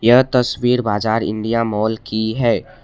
यह तस्वीर बाजार इंडिया मॉल की है।